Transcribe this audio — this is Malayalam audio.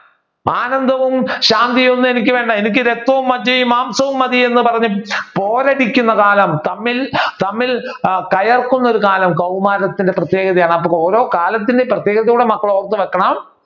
ആനന്ദവും ശാന്തിയും ഒന്നും എനിക്ക് വേണ്ട എനിക്ക് രക്തവും മജ്ജയും മാംസവും മതിയെന്ന് പറഞ്ഞു പോരടിക്കുന്ന കാലം തമ്മിൽ തമ്മിൽ കയർക്കുന്ന ഒരു കാലം കൗമാരത്തിന്റെ പ്രത്യേകതയാണ് അപ്പൊ ഓരോ കാലത്തിന്റെ പ്രത്യേകതകളും കൂടി മക്കൾ ഓർത്തു വെക്കണം.